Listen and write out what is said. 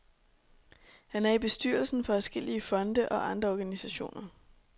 Han er i bestyrelsen for adskillige fonde og andre organisationer.